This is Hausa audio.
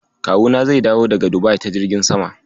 Kawuna zai dawo daga Dubai ta jirgin sama.